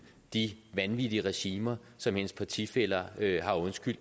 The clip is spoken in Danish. de vanvittige regimer som hendes partifæller har undskyldt